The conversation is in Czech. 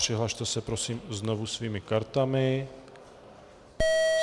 Přihlaste se, prosím, znovu svými kartami.